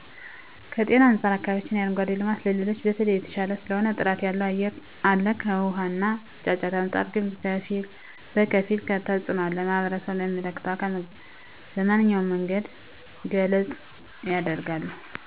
ከጤና አንፃር በአከባቢያችን የአረንጓዴ ልማት ከሌሎቹ በተለየ የተሻለ ስለሆነ ጥራት ያለው አየር አለ ከውሃ እና ጫጫታ አንፃር ግን በከፊል ቢሆንም ተፅኖ አለ ማህበረሰቡም ለሚመለከተው አካል በመንኛውም መንገድ ገለፃ የደርጋሉ።